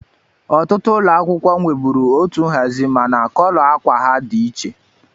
Ọtụtụ ụlọ akwụkwọ nweburu otu nhazi mana kọlọ ákwà ha dị iche.